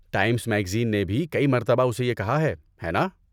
Times میگزیننےے بھی کئی مرتبہ اسے یہ کہا ہے، ہے نا؟